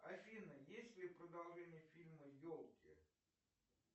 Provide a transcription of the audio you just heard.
афина есть ли продолжение фильма елки